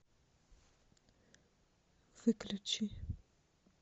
выключи